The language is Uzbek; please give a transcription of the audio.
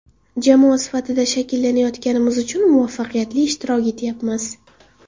Jamoa sifatida shakllanayotganimiz uchun muvaffaqiyatli ishtirok etyapmiz.